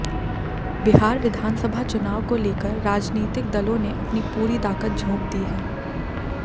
बिहार विधानसभा चुनाव को लेकर राजनीतिक दलों ने अपनी पूरी ताकत झोंक दी है